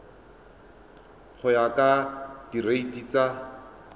go ya ka direiti tsa